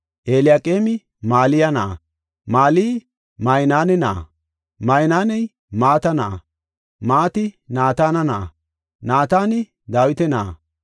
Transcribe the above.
Eliyaqeemi Maliya na7a, Maliyi Maynaane na7a, Maynaaney Mata na7a, Mati Naatana na7a, Naatani Dawita na7a,